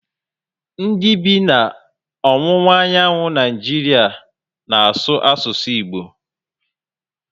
Ndị bi na ọwụwa anyanwụ Naịjiria n'asu asụsụ Igbo